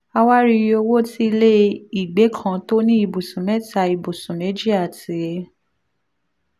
a wá rí iye owó tí ilé ìgbẹ́ kan tó ní ibùsùn mẹ́ta ibùsùn méjì àti